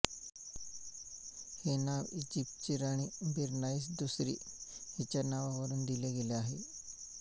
हे नाव ईजिप्तची राणी बेरनाइस दुसरी हिच्या नावावरून दिले गेले आहे